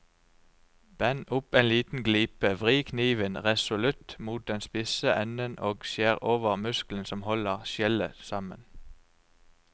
Bend opp en liten glipe, vri kniven resolutt mot den spisse enden og skjær over muskelen som holder skjellet sammen.